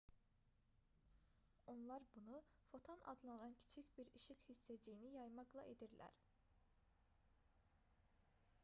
onlar bunu foton adlanan kiçik bir işıq hissəciyini yaymaqla edirlər